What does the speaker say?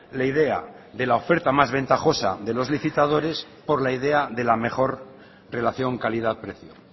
la idea de la oferta más ventajosa de los licitadores por la idea de la mejor relación calidad precio